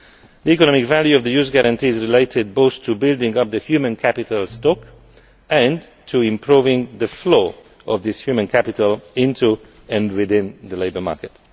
The economic value of the Youth Guarantee is related both to building up the human capital stock and to improving the flow of this human capital into and within the labour market.